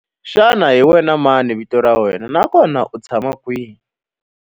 Xana hi wena mani vito ra wena naswona u tshama kwihi?